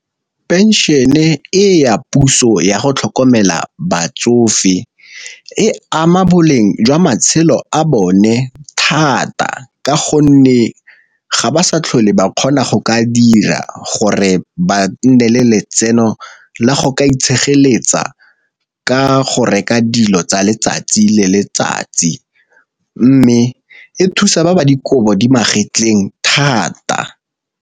Pension e ya puso yago tlhokomela batsofe e ama boleng jwa matshelo a bone thata, ka gonne ga ba sa tlhole ba kgona go ka dira gore ba nne le letseno la go ka itshegeletse ka go reka dilo tsa letsatsi le letsatsi, mme e thusa ba ba dikobo di magetleng thata.